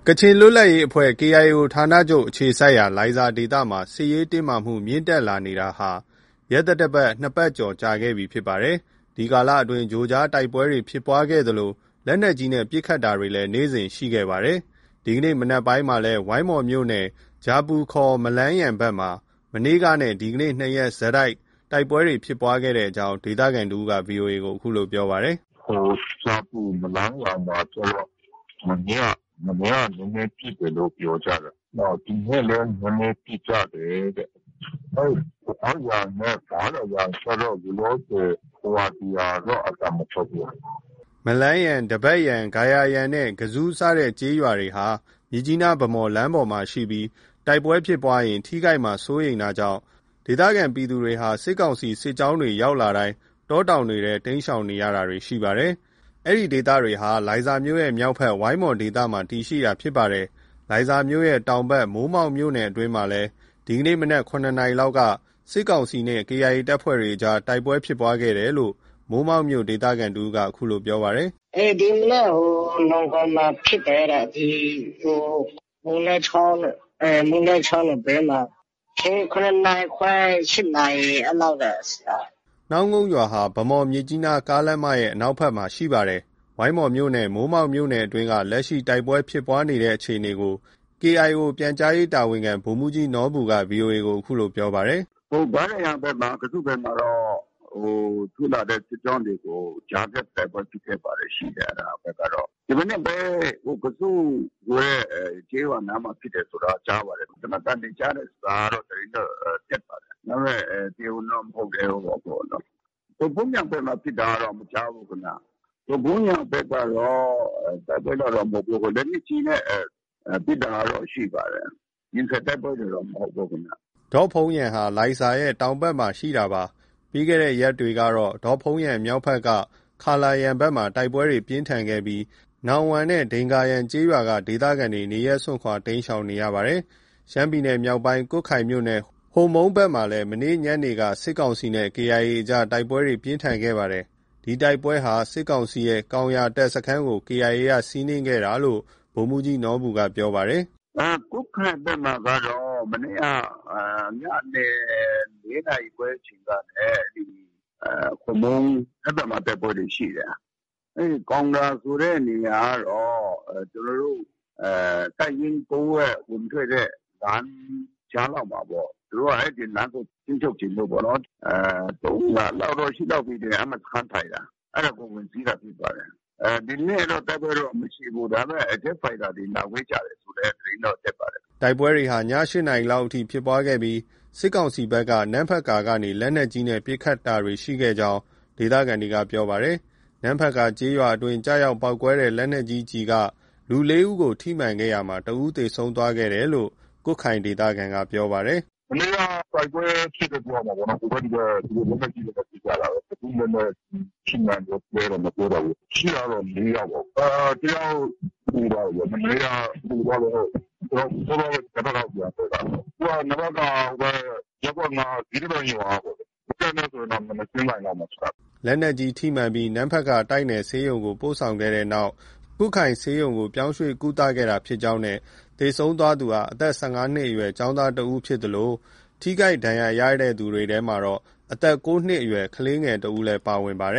ကချင်လွတ်လပ်ရေးအဖွဲ့ KIO ဌာနချုပ်အခြေစိုက်ရာ လိုင်ဇာဒေသမှာ စစ်ရေးတင်းမာမှု မြင့်တက်လာနေတာဟာ ရက်သတ္တ ၂ ပတ်ကျော်ခဲ့ပြီ ဖြစ်ပါတယ်။ ဒီကာလအတွင်း ကြိုကြား တိုက်ပွဲတွေ ဖြစ်ပွားခဲ့သလို လက်နက်ကြီးနဲ့ ပစ်ခတ်တာတွေလည်း နေ့စဉ်ဆိုသလို ရှိခဲ့ပါတယ်။ ဒီကနေ့ မနက်ပိုင်းမှာလည်း ဝိုင်းမော်မြို့နယ် ဂျာပူ ခေါ် မလန်းယန် ဘက်မှာ မနေ့ကနဲ့ ဒီကနေ့ နှစ်ရက်ဆက် တိုက်ပွဲဖြစ်ပွားခဲ့ကြောင်း ဒေသခံတဦးက ဗွီအိုအေ ကို ပြောပါတယ်။ “ဂျာပူ မှာကျတော့ မနေ့က နည်းနည်းပစ်တယ်လို့ ပြောကြတယ်။ နောက် ဒီနေ့လည်း နည်းနည်းပစ်ကြတယ်တဲ့။ အဲဒီ ဒဘတ်ယန်နဲ့ ဂါရာယန်ကျတော့ လောလောဆယ် ဟိုဟာ ဒီဟာတော့ အသံမထွက်ဘူး။” မလန်းယန်၊ ဒဘတ်ယန်၊ ဂါရာယန်နဲ့ ကဇူး စတဲ့ကျေးရွာတွေဟာ မြစ်ကြီးနား- ဗန်းမော်လမ်းပေါ်မှာရှိပြီး တိုက်ပွဲဖြစ်ရင် ထိခိုက်မှာ စိုးရိမ်တာကြောင့် ဒေသခံ ပြည်သူတွေဟာ စစ်ကောင်စီ စစ်ကြောင်းတွေ ရောက်လာတိုင်း တောတောင်တွေထဲကို တိမ်းရှောင်တာတွေ ရှိနေပါတယ်။ ဒီဒေသတွေဟာ လိုင်ဇာမြို့ရဲ့ မြောက်ဘက် ဝိုင်းမော်ဒေသမှာ တည်ရှိတာဖြစ်ပါတယ်။ လိုင်ဇာမြို့ရဲ့ တောင်ဘက် မိုးမောက်မြို့နယ် အတွင်းမှာလည်း ဒီကနေ့ မနက် ၇ နာရီလောက်က စစ်ကောင်စီနဲ့ KIA အကြား တိုက်ပွဲဖြစ်ပွားခဲ့တယ်လို့ မိုးမောက်မြို့က ဒေသခံတဦးက ပြောပါတယ်။ “ ဒီမနက်က နောင်းကုန်မှာဖြစ်တယ်တဲ့။ ဒီ မိုးလဲချောင်းနဘေးမှာ။ ၇ နာရီခွဲ ၊ ၈ နာရီ အဲ့လောက်က ဖြစ်တာ။” နောင်းကုန်ရွာဟာ ဗန်းမော်-မြစ်ကြီးနား ကားလမ်းမရဲ့ အနောက်ဘက်ခြမ်းမှာ ရှိတာဖြစ်ပါတယ်။ ဝိုင်းမော်မြို့နယ်နဲ့ မိုးမောက်မြို့နယ်အတွင်းက လက်ရှိ တိုက်ပွဲဖြစ်ပွားတဲ့ အခြေအနေကို KIO ပြန်ကြားရေးတာဝန်ခံ ဗိုလ်မှုးကြီးနော်ဘူက ဗွီအိုအေကို အခုလို ပြောပါတယ်။ “ ဂါးရာယန်ဘက်မှာ၊ ကဇူးဘက်မှာတော့ ထိုးလာတဲ့ စစ်ကြောင်းတွေကို ကြားဖြတ် တိုက်ပွဲ ဖြစ်ခဲ့တာတွေ ရှိတယ်။ ဒီမနက်ပဲ ကဇူးဆိုတဲ့ ကျေးရွာနားမှာ ဖြစ်တယ်ဆိုတာ ကြားပါတယ်။ သေနတ်သံတွေ ကြားတယ်ဆိုတာကတော့ သတင်းတော့ တက်ပါတယ်။ ဒါပေမဲ့ တရားဝင်တော့ မဟုတ်သေးဘူးပေါ့။ ဒေါ့ဖုန်းယန်ဘက်မှာ ဖြစ်တာကတော့ မကြားဘူးခင်ဗျ။ ဒေါ့ဖုန်းယန်ဘက်ကတော့ တိုက်ပွဲကတော့ မဟုတ်ဘူး။ လက်နက်ကြီးနဲ့ ပစ်တာကတော့ ရှိပါတယ်။ ရင်ဆိုင် တိုက်ပွဲတွေတော့ မဟုတ်ဘူးခင်ဗျ။ ” ဒေ့ါဖုန်းယန်ဟာ လိုင်ဇာရဲ့ တောင်ဘက်ပိုင်းမှာ တည်ရှိတာပါ။ ပြီးခဲ့တဲ့ ရက်တွေကတော့ ဒေါ့ဖုန်းယန်မြောက်ဘက် က ခါလားယန် ဘက်မှာ တိုက်ပွဲပြင်းထန်ခဲ့ပြီး နောင်ဝမ့်နဲ့ ဒိန်ဂါယန်ကျေးရွာက ဒေသခံတွေ နေရပ်စွန့်ခွာ တိမ်းရှောင်နေရပါတယ်။ ရှမ်းပြည်နယ်မြောက်ပိုင်း ကွတ်ခိုင်မြို့နယ် ဟိုမုန်းဘက်မှာလည်း မနေ့ ညနေပိုင်းက စစ်ကောင်စီနဲ့ KIA အကြား တိုက်ပွဲပြင်းထန်ခဲ့ပါတယ်။ ဒီတိုက်ပွဲဟာ စစ်ကောင်စီရဲ့ ကောင်ရာ တပ်စခန်းကို KIA က စီးနင်းခဲ့တာလို့ ဗိုလ်မှုးကြီးနော်ဘူက ပြောပါတယ်။ “ကွတ်ခိုင်ဘက်မှာကတော့ မနေ့က ညနေ ၄ နာရီခွဲ အချိန်ကနေ ဟိုမုံး။ အဲဒီဘက်မှာ တိုက်ပွဲတွေ ရှိတယ်။ အဲဒီ ကောင်ရာ ဆိုတဲ့နေရာကတော့ ကျနော်တို့ တပ်ရင်း ၉ ရဲ့ ဝင်ထွက်တဲ့ ကြားလောက်မှာပေါ့။ သူတို့က အဲဒီလမ်းကို ထိန်းချုပ်ချင်လို့ပေါ့နော်။ ၃လလောက်တော့ ရှိပြီထင်တယ်။ အဲဒီမှာ စခန်းထိုင်တာ။ အဲဒါကို ဝင်စီးတာဖြစ်ပါတယ်။ ဒီနေ့တော့ တိုက်ပွဲကတော့ မရှိဘူး။ ဒါပေမဲ့ ဂျက်ဖိုက်တာတွေ လာဝဲကြတယ်ဆိုတဲ့ သတင်းတော့ တက်ပါတယ်။” တိုက်ပွဲဟာ ည ၈နာရီလောက်အထိ ဖြစ်ခဲ့ပြီး စစ်ကောင်စီဘက်က နမ့်ဖတ်ကာ ကနေ လက်နက်ကြီးနဲ့ ပစ်ခတ်တာတွေရှိခဲ့ကြောင်း ဒေသခံတွေက ပြောပါတယ်။ နမ့်ဖတ်ကာရွာအတွင်း ကျရောက်ပေါက်ကွဲတဲ့ လက်နက်ကြီးကျည်က လူ ၄ ဦးကို ထိမှန်ခဲ့ရာမှာ တစ်ဦး သေဆုံးသွားခဲ့တယ်လို့ ကွတ်ခိုင်ဒေသခံက ပြောပါတယ်။ “ မနေ့က တိုက်ပွဲဖြစ်တယ် ပြောရမှာပေါ့။ လက်နက်ကြီးတွေနဲ့ ဟိုဘက်၊ ဒီဘက် ပစ်ကြတာ။ ဘယ်သူ့လက်နက်ကြီး ထိမှန်သလဲတော့ မပြောတတ်ဘူးပေါ့။ ထိတာတော့ ၄ ယောက်ပေါ့။ တစ်ယောက်သေသွားတယ်ဗျ။ မနေ့က သေသွားတယ်။ စောစောကပဲ နမ့်ဖတ်ကာကို ပြန်သယ်လာတယ်။ သူက နမ့်ဖတ်ကာ ဟိုဘက် ရပ်ကွက် ၅ ၊ ဇီဒဗန်ရွာကပေါ့။ တပ်နဲ့ဆိုရင်တော့ မျက်နှာချင်းဆိုင်လောက်မှာ ရှိတာ။” လက်နက်ကြီး ထိမှန်ပြီး နမ့်ဖတ်ကာ တိုက်နယ်ဆေးရုံကို ပို့ဆောင်ခဲ့ပြီးတဲ့နောက်မှာ ကွတ်ခိုင်ဆေးရုံကို ပြောင်းရွှေ့ ကုသခဲ့တာ ဖြစ်ကြောင်းနဲ့ သေဆုံးသွားသူဟာ အသက် ၁၅ နှစ်အရွယ် ကျောင်းသားဖြစ်သလို ထိခိုက်သူထဲမှာတော့ အသက် ၉ နှစ်အရွယ် ကလေးတစ်ဦးလည်း ပါဝင်ပါတယ